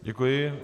Děkuji.